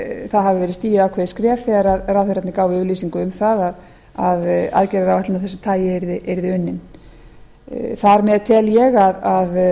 það hafi verið stigið ákveðið skref þegar ráðherrarnir gáfu yfirlýsingu um það að aðgerðaráætlun af þessu tagi yrði unnin þar með tel ég að